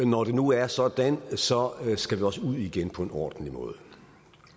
når det nu er sådan skal vi også ud igen på en ordentlig måde